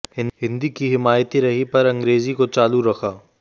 हिन्दी की हिमायती रही पर अंग्रेजी को चालू रखा